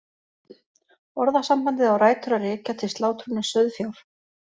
Orðasambandið á rætur að rekja til slátrunar sauðfjár.